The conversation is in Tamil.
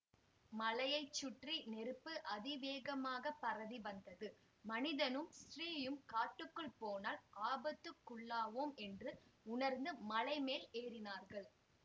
மலையை சுற்றி நெருப்பு அதிவேகமாகப் பரவி வந்தது மனிதனும் ஸ்திரீயும் காட்டுக்குள் போனால் ஆபத்துக்குள்ளாவோம் என்று உணர்ந்து மலை மேல் ஏறினார்கள்